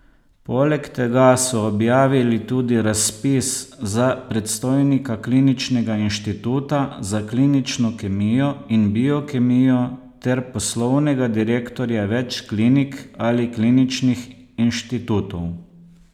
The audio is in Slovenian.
Poleg tega so objavili tudi razpis za predstojnika kliničnega inštituta za klinično kemijo in biokemijo ter poslovnega direktorja več klinik ali kliničnih inštitutov.